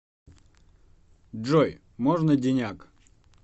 джой можно деняк